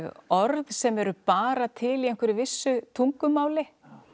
orð sem eru bara til í einhverju vissu tungumáli